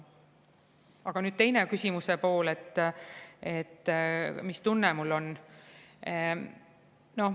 Aga nüüd küsimuse teine pool, et mis tunne mul on.